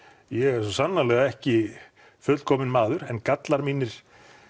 ég er svo sannarlega ekki fullkominn maður en gallar mínir